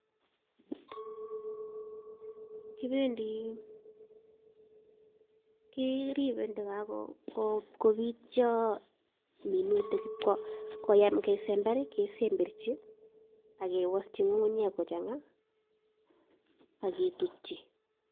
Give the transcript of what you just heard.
KIribe tagakobityo minutik akoikoyam kesember kesemberchi akewosyi ng'ung'unyek kochang'a akitutyi.